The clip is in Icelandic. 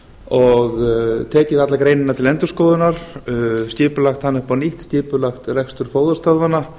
og tekið alla greinina til endurskoðunar skipulagt hana upp á nýtt skipulagt rekstur fóðurstöðvanna